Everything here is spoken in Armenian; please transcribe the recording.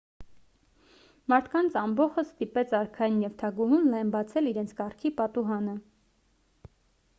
մարդկանց ամբոխն ստիպեց արքային և թագուհուն լայն բացել իրենց կառքի պատուհանը